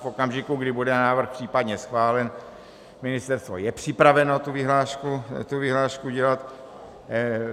V okamžiku, kdy bude návrh případně schválen, ministerstvo je připraveno tu vyhlášku dělat.